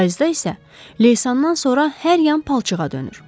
Payızda isə leysandan sonra hər yan palçığa dönür.